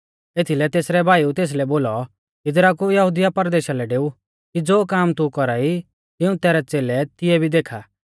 एथीलै तेसरै भाईउऐ तेसलै बोलौ इदरा कु यहुदिया परदेशा लै डेऊ कि ज़ो काम तू कौरा ई तिऊं तैरै च़ेलै तिऐ भी देखा